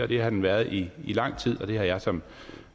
det har den været i lang tid og det har jeg som